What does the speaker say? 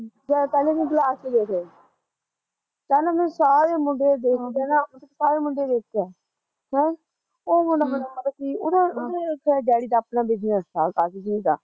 ਜਦ ਪਹਿਲਾਂ ਦਿਨ ਕਲਾਸ ਚ ਗਏ ਥੇ ਪਹਿਲਾਂ ਮੈਂ ਸਾਰੇ ਮੁੰਡੇ ਦੇਖ ਕੇ ਨਾ, ਸਾਰੇ ਮੁੰਡੇ ਦੇਖ ਕੇ ਹੈਂ ਉਹ ਮੁੰਡਾ ਬੜਾ ਮੈਨੂੰ ਮਤਲਬ ਕੀ ਉਹਦਾ ਉਹਦੇ ਡੈਡੀ ਦਾ ਆਪਣਾ ਬਿਜ਼ਨਸ ਥਾ ਕਾਸੀ ਚੀਜ਼ ਦਾ